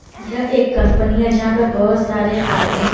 यह एक कंपनी है यहां पर बहुत सारे आदमी--